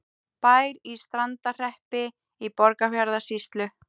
Bær í Strandarhreppi í Borgarfjarðarsýslu.